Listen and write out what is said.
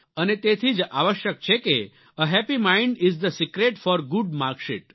અને તેથી જ આવશ્યક છે કે a happy mind is the secret for a good marksheet